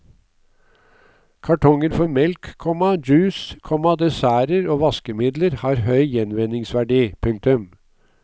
Kartonger for melk, komma juice, komma desserter og vaskemidler har høy gjenvinningsverdi. punktum